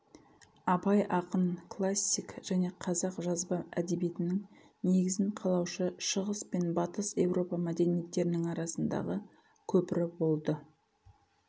абай ақын классик және қазақ жазба әдебиетінің негізін қалаушы шығыс пен батыс еуропа мәдениеттерінің арасындағы көпірі болды